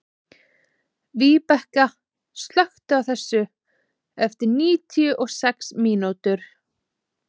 Víbekka, slökktu á þessu eftir níutíu og sex mínútur.